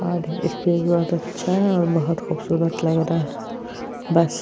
इसपे भी बोहोत अच्छा है और बोहोत खूबसूरत लग रहा है बस --